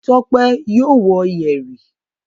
Tọ́pẹ́ yóò wọ yẹ̀rì.